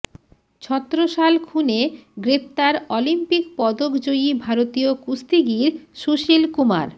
ছত্রসাল খুনে গ্রেফতার অলিম্পিক পদক জয়ী ভারতীয় কুস্তিগীর সুশীল কুমার